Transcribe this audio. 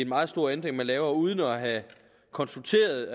meget stor ændring man laver uden at have konsulteret